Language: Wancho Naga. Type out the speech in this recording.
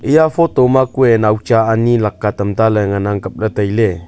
eya photo kuye naucha laka tam talle ngan ang kaple taile.